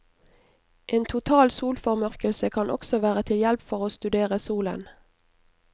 En total solformørkelse kan også være til hjelp for å studere solen.